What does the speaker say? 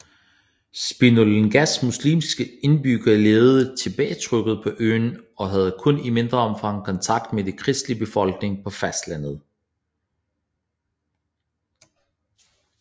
Spinalongas muslimske indbyggere levede tilbagetrukket på øen og havde kun i mindre omfang kontakt med den kristelige befolkning på fastlandet